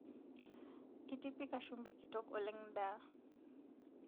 Itipika shumbi kitok oleng ndaa